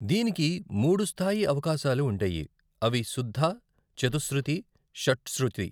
దీనికి మూడు స్థాయి అవకాశాలు ఉంటాయి, అవి శుద్ద, చతుశ్రుతి, షట్చ్రుతి.